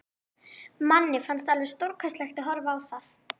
Manni fannst alveg stórkostlegt að horfa á það.